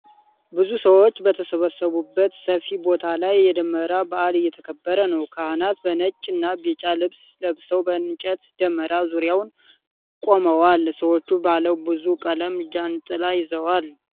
ብዙ ሰዎች በተሰበሰቡበት ሰፊ ቦታ ላይ የደመራ በዓል እየተከበረ ነው። ካህናት በነጭ እና ቢጫ ልብስ ለብሰው በእንጨት ደመራ ዙሪያ ቆመዋል፤ ሰዎችም ባለ ብዙ ቀለም ጃንጥላ ይዘዋል።